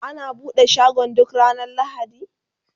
ana buɗe shagon ga ranar lahadi?